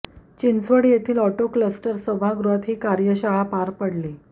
चिंचवड येथील auto cluster सभागृहात ही कार्यशाळा पार पडली